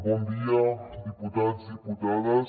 bon dia diputats diputades